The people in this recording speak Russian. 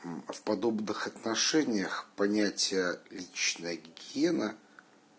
в подобных отношениях понятие личная гигиена